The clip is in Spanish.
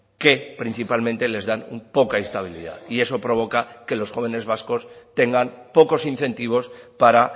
que principalmente les dan poca estabilidad y eso provoca que los jóvenes vascos tengan pocos incentivos para